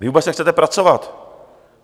Vy vůbec nechcete pracovat.